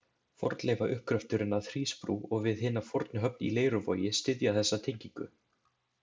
Fornleifauppgröfturinn að Hrísbrú og við hina fornu höfn í Leiruvogi styðja þessa tengingu.